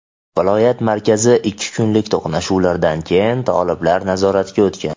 viloyat markazi ikki kunlik to‘qnashuvlardan keyin toliblar nazoratiga o‘tgan.